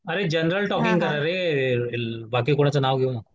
अरे general talking करा रे. बाकी कुणाचं नाव घेऊ नका.